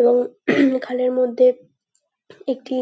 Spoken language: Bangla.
এবং এখানের মধ্যে একটি